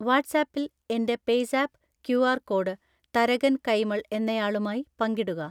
വാട്ട്സ്ആപ്പിൽ എൻ്റെ PayZapp QR code Tharakan Kaimal എന്നയാളുമായി പങ്കിടുക